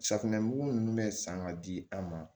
Safunɛ mugu ninnu bɛ san ka di an ma